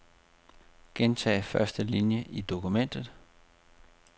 Gentag første linie i dokumentet.